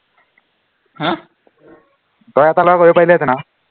তই এটা লৰা কৰিব পাৰিলিহেঁতেন আৰু